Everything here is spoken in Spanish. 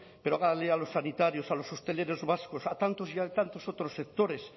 pero hágales a los sanitarios a los hosteleros vascos a tantos y a tantos otros sectores